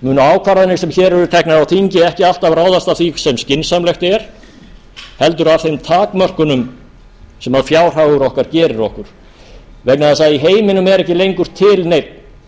munu því ákvarðanir okkar sem hér eru teknar á þingi ekki alltaf ráðast af því sem skynsamlegt er heldur af þeim takmörkunum sem fjárhagur okkar gerir okkur vegna þess að heiminum er ekki lengur til neinn